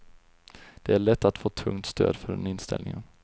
Det är lätt att få tungt stöd för den inställningen.